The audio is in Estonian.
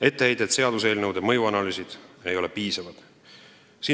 Etteheide, et seaduseelnõude mõjuanalüüsid ei ole piisavad.